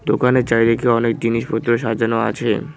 দোকানের চারিদিকে অনেক জিনিসপত্র সাজানো আছে।